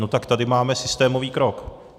No tak tady máme systémový krok.